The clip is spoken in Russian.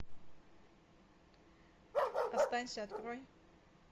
останься открой